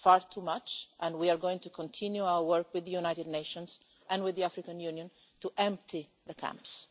That is far too much and we are going to continue our work with the United Nations and with the African Union to empty the camps.